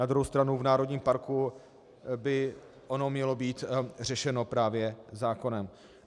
Na druhou stranu v národním parku by to mělo být řešeno právě zákonem.